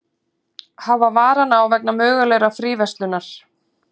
Hafa varann á vegna mögulegrar fríverslunar